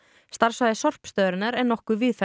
starfsvæði sorpstöðvarinnar er nokkuð víðfeðmt